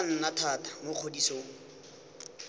tla nna thata mo kgodisong